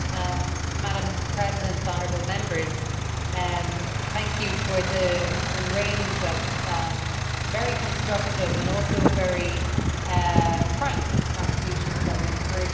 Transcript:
Madam President, honourable Members, thank you for the range of very constructive and also very frank contributions that we have heard here.